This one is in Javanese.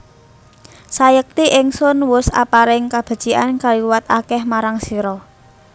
Sayekti Ingsun wus aparing kabecikan kaliwat akeh marang sira